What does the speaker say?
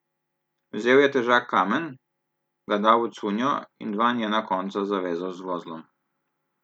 Vzel je težak kamen, ga dal v cunjo in dva njena konca zavezal z vozlom.